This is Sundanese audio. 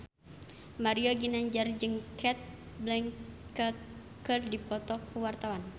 Mario Ginanjar jeung Cate Blanchett keur dipoto ku wartawan